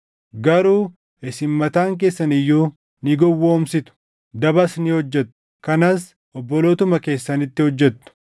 Garuu isin mataan keessan iyyuu ni gowwoomsitu; dabas ni hojjettu; kanas obbolootuma keessanitti hojjettu.